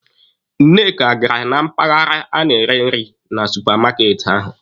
Nneka gara na mpaghara a na-ere nri na supamaati ahụ.